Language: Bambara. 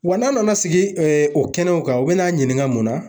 Wa n'a nana sigi o kɛnɛw kan, u bɛn'a ɲininka mun na